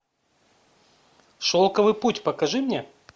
шелковый путь покажи мне